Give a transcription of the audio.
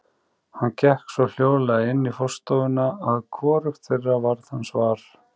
Hann gekk svo hljóðlega inn í forstofuna að hvorugt þeirra varð hans var.